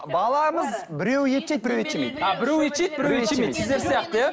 баламыз біреуі ет жейді біреуі ет жемейді сіздер сияқты иә